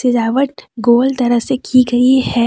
सजावट गोल तरह से की गई है